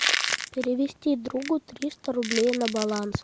перевести другу триста рублей на баланс